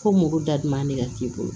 Ko mugu daduman de ka k'i bolo